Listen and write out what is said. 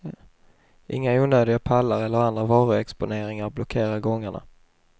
Inga onödiga pallar eller andra varuexponeringar blockerar gångarna.